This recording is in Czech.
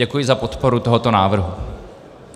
Děkuji za podporu tohoto návrhu.